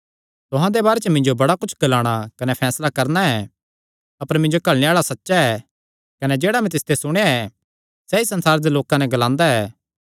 तुहां दे बारे च मिन्जो बड़ा कुच्छ ग्लाणा कने फैसला करणा ऐ अपर मिन्जो घल्लणे आल़ा सच्चा ऐ कने जेह्ड़ा मैं तिसते सुणेया ऐ सैई संसारे दे लोकां नैं ग्लांदा ऐ